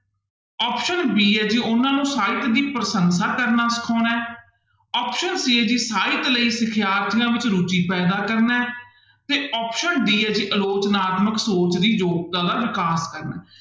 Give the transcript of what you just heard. Option b ਹੈ ਜੀ ਉਹਨਾਂ ਨੂੰ ਸਾਹਿਤ ਦੀ ਪ੍ਰਸੰਸਾ ਕਰਨਾ ਸਿਖਾਉਣਾ ਹੈ option c ਹੈ ਜੀ ਸਾਹਿਤ ਲਈ ਸਿਖਿਆਰਥੀਆਂ ਵਿੱਚ ਰੁੱਚੀ ਪੈਦਾ ਕਰਨਾ ਹੈ ਤੇ option d ਹੈ ਜੀ ਅਲੋਚਨਾਤਮਕ ਸੋਚ ਦੀ ਯੋਗਤਾ ਦਾ ਵਿਕਾਸ ਕਰਨਾ ਹੈ।